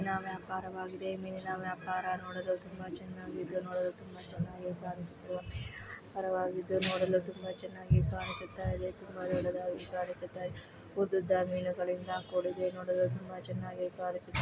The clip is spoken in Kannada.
ಮೀನಿನ ವ್ಯಾಪಾರವಾಗಿದೆ ಮಿನಿನ ವ್ಯಾಪರ ನೋಡಲು ತುಂಬಾ ಚೆನ್ನಾಗಿದೆ ನೋಡಲು ತುಂಬಾ ಚೆನ್ನಾಗಿ ಕಾಣಿಸುತ್ತಿದೆ ಮಿನಿನ ವ್ಯಾಪಾರವಾಗಿದ್ದು ಚೆನ್ನಾಗಿ ಕಾಣಿಸತ್ತಾ ಇದೆ ಉದ್ದುದ ಮೀನುಗಳಿಂದ ಕೂಡಿದೆ ನೊಡಲು ತುಂಬಾ ಚೆನ್ನಾಗಿ ಕಾಣಿಸುತ್ತಿದೆ --